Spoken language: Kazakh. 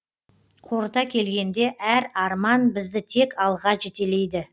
қорыта келгенде әр арман бізді тек алға жетелейді